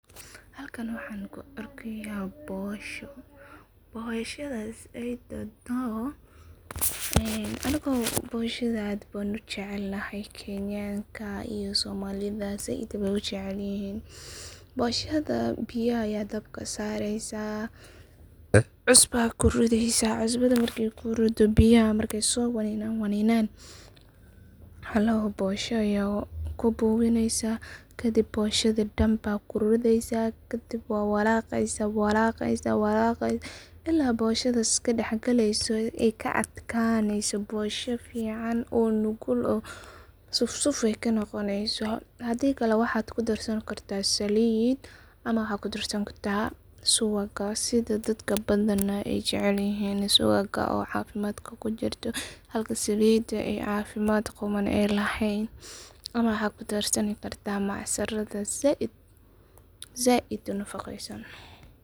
Halkan waxaan kuu argaya boosho. booshadas ii dontoh anuga booshada aad ban ujacalanahy kantanka iyo soomalidas saaid bay ujacayihin booshadas biyaha aya dabka saraysah cusuba kuridaysah cusubada. marka ku ridoh biyaha Maka soo waninan waninan halaho boosha ah aya ku buwinin kadib booshada. daan baa kugorwadasah kadib wa walaqasah walaqasah ila booshada iskadax kalisoh aa ka adkaniso boosha fican oo nugul suuf suuf ka noqonasid hadii waaxa kuu darsanigartah salid Waxa kuu darsankartah suwaag sida dadka baadn aay jacalyihin suwaag oo cafimadka kujirtoh halka salid cafimad quman aay lahan ama waxaa kuu darsanikartah. macsarad. salida said una faqasan